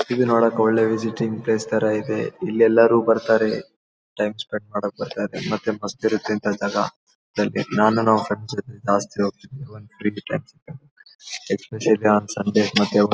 ಇದು ನೋಡಕ್ಕೆ ಒಳ್ಳೆ ವಿಸಿಟಿಂಗ್ ಪ್ಲೇಸ್ ತರ ಇದೆ ಇಲ್ಲಿ ಎಲ್ಲರು ಬರತ್ತಾರೆ ಟೈಮ್ ಸ್ಪೆಂಡ್ ಮಾಡೋಕ್ಕೆ ಬರತ್ತಾರೆ ಮತ್ತೆ ಮಸ್ತ್ ಇರುತ್ತೆ ಅಂದಾಗ ನಾನು ನನ್ ಫ್ರೆಂಡ್ಸ್ ಜೊತೆ ಜಾಸ್ತಿ ಹೋಗತ್ತೀನಿ ಒನ್ ಫ್ರೀ ಟೈಮ್ ಸಿಕ್ಕಾಗ ಎಸ್ಪೆಶಾಲಿ ಆನ್ ಸಂಡೆ ಮತ್ತೆ ಒನ್ --